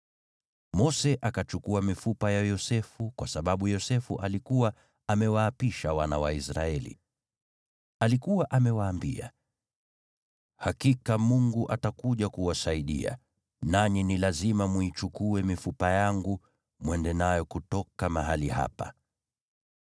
Mose akachukua mifupa ya Yosefu kwa sababu Yosefu alikuwa amewaapisha wana wa Israeli. Alikuwa amewaambia, “Hakika Mungu atakuja kuwasaidia, nanyi ni lazima mwiichukue mifupa yangu mwende nayo kutoka mahali hapa.”